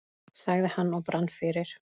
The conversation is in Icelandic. sagði hann og brann fyrir.